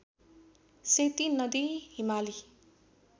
सेती नदी हिमाली